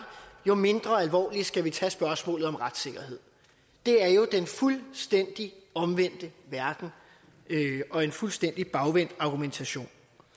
jo mindre alvorligt skal vi tage spørgsmålet om retssikkerhed det er jo den fuldstændig omvendte verden og en fuldstændig bagvendt argumentation